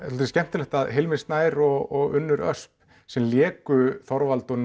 svolítið skemmtilegt að Hilmir Snær og Unnur Ösp sem léku Þorvald og